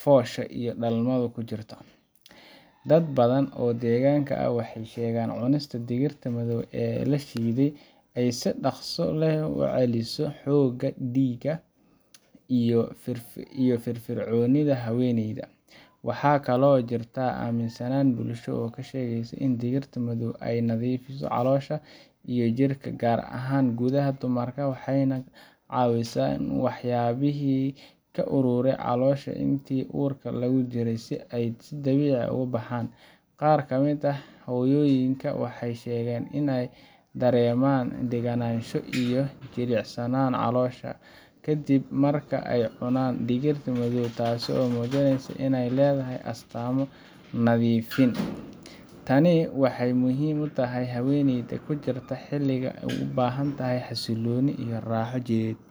foosha iyo dhalmada ku jirtay. Dad badan oo deegaanka ah waxay sheegaan in cunista digirta madow ee la shiiday ay si dhaqso leh u soo celiso xoogga, dhiigga, iyo firfircoonida haweeneyda. Waxaa kaloo jirta aaminsanaan bulsho oo sheegaysa in digirta madow ay nadiifiso caloosha iyo jirka, gaar ahaan gudaha dumarka, waxayna ka caawisaa in waxyaabihii ku ururay caloosha intii uurka lagu jiray ay si dabiici ah u baxaan. Qaar ka mid ah hooyooyinka waxay sheegaan inay dareemaan deganaansho iyo jilicsanaan caloosha ah kadib marka ay cunaan digirta madow, taasoo muujinaysa in ay leedahay astaamo nadiifin ah. Tani waxay muhiim u tahay haweeneyda oo ku jirta xilli ay u baahantahay xasillooni iyo raaxo jidheed.